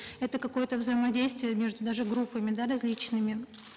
это какое то взаимодействие между даже группами да различными